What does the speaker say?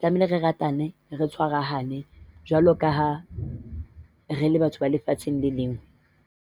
Tlamehile re ratane re tshwarahane, jwalo ka ha re le batho ba lefatsheng le le leng.